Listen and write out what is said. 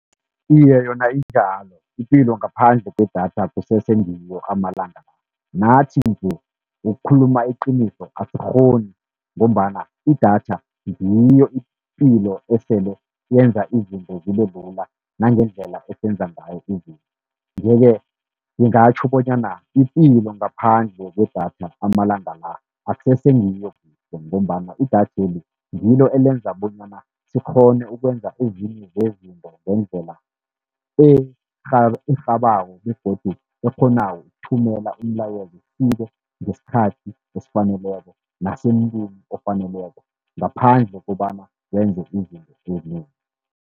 Iye, yona injalo ipilo ngaphandle kwedatha akusese ngiyo amalanga la. Nathi nje, ukukhuluma iqiniso asikghoni ngombana idatha ngiyo ipilo esele yenza izinto zibe lula nangendlela esenza ngayo izinto. Ye-ke ngingatjho bonyana ipilo ngaphandle kwedatha amalanga la akusese ngiyo, ngombana idatheli ngilo elenza bonyana sikghone ukwenza ezinye zezinto ngendlela erhabako begodu ekghonako ukuthumela umlayezo ufike ngesikhathi esifaneleko nasemntwini ofaneleko, ngaphandle kobana wenze izinto ezinengi.